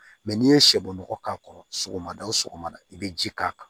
n'i ye sɛbɔgɔ k'a kɔrɔ sɔgɔmada o sɔgɔmada i bɛ ji k'a kan